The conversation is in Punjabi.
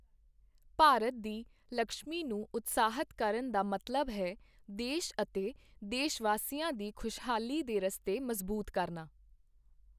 ਭਾਰਤ ਦੀ ਲਕਸ਼ਮੀ ਨੂੰ ਉਤਸ਼ਾਹਿਤ ਕਰਨ ਦਾ ਮਤਲਬ ਹੈ, ਦੇਸ਼ ਅਤੇ ਦੇਸ਼ਵਾਸੀਆਂ ਦੀ ਖੁਸ਼ਹਾਲੀ ਦੇ ਰਸਤੇ ਮਜਬੂਤ ਕਰਨਾ।